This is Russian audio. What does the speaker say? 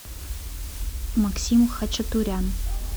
максим хачатурян